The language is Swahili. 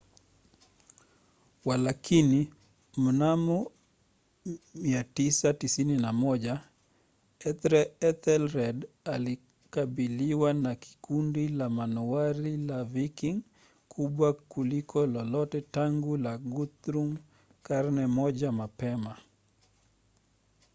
walakini mnamo 991 ethelred alikabiliwa na kundi la manowari la viking kubwa kuliko lolote tangu la guthrum karne moja mapema